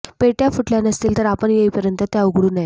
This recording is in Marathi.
पेट्या फुटल्या नसतील तर आपण येईपर्यंत त्या उघडू नयेत